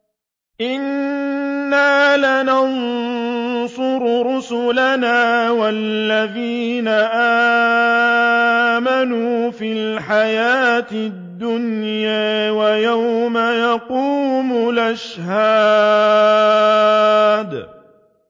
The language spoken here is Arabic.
إِنَّا لَنَنصُرُ رُسُلَنَا وَالَّذِينَ آمَنُوا فِي الْحَيَاةِ الدُّنْيَا وَيَوْمَ يَقُومُ الْأَشْهَادُ